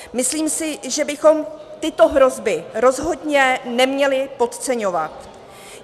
Myslím si, že bychom tyto hrozby rozhodně neměli podceňovat.